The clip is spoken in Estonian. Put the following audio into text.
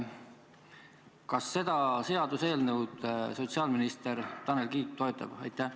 Kas seda seaduseelnõu sotsiaalminister Tanel Kiik toetab?